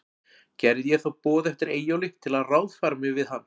Gerði ég þá boð eftir Eyjólfi, til að ráðfæra mig við hann.